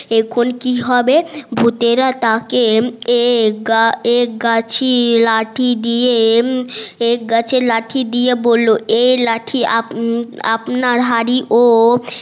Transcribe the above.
এখন কি হবে ভুতেরা তাকে এক গাছের লাঠি দিয়ে এক গাছের লাঠি দিয়ে বললো এ লাঠি আপনার হাড়ি ও